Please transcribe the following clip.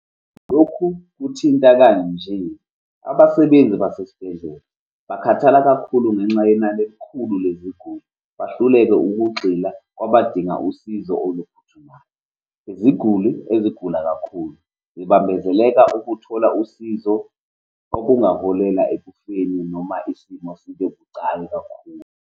Lokhu kuthinta kanje, abasebenzi basesibhedlela bakhathala kakhulu ngenxa yenani elikhulu leziguli, bahluleke ukugxila kwabadinga usizo oluphuthumayo. Iziguli ezigula kakhulu zibambezeleka ukuthola usizo, okungaholela ekufeni noma isimo sibe bucayi kakhulu.